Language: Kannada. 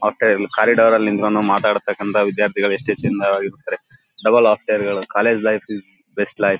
ಮತ್ತೆ ಇಲ್ ಕಾರಿಡಾರ್ ಅಲ್ಲಿ ನಿಂತ್ಕೊಂಡು ಮಾತಾಡ್ತಕಂತ ವಿದ್ಯಾರ್ಥಿಗಳು ಎಷ್ಟು ಚೆಂದವಾಗಿ ಇರ್ತಾರೆ. ಡಬಲ್ ಆಫ್ಟರ್ ಗಳು college life is best life .